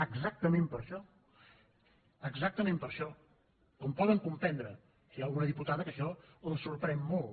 exactament per això exactament per això com poden comprendre hi ha alguna diputada que això la sorprèn molt